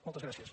moltes gràcies